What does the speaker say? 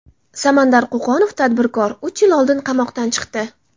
Samandar Qo‘qonov, tadbirkor, uch yil oldin qamoqdan chiqdi.